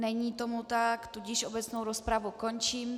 Není tomu tak, tudíž obecnou rozpravu končím.